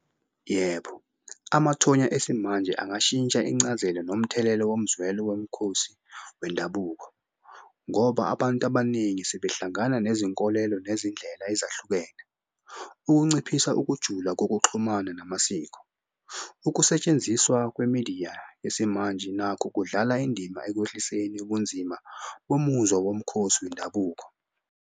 Yebo, amathonya esimanje angashitsha incazelo nomthelelo womzwelo womkhosi wendabuko ngoba abantu abaningi sebehlangana nezinkolelo nezindlela ezahlukene. Ukunciphisa ukujula kokuxhumana namasiko, ukusetshenziswa kwemidiya yesimanje nakho kudlala indima ekwehlisweni ubunzima bomuzwa womkhosi wendabuko.